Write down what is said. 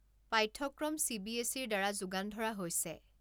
পাঠ্যক্ৰম চিবিএছচিৰ দ্বাৰা যোগান ধৰা হৈছে।